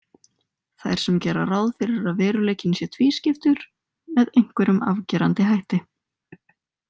Þær sem gera ráð fyrir að veruleikinn sé tvískiptur með einhverjum afgerandi hætti.